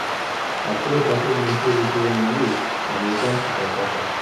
открой последнюю серию сезона девять американский папаша